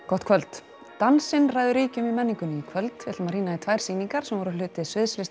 gott kvöld dansinn ræður ríkjum í menningunni í kvöld við ætlum að rýna í tvær sýningar sem voru hluti sviðslistahátíðarinnar